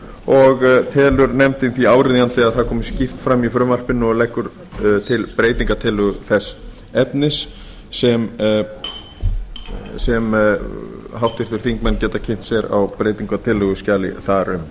og telur nefndin því áríðandi að það komi skýrt fram í frumvarpinu og leggur til breytingartillögur þess efnis sem háttvirtir þingmenn geta kynnt sér á breytingartillöguskjali þar um